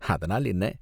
அதனால் என்ன?